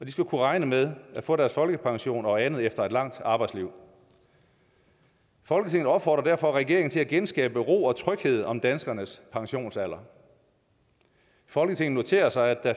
og de skal kunne regne med at få deres folkepension og andet efter et langt arbejdsliv folketinget opfordrer derfor regeringen til at genskabe ro og tryghed om danskernes pensionsalder folketinget noterer sig at